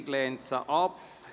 Die Regierung lehnt sie ab.